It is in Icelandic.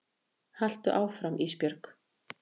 Haltu áfram Ísbjörg.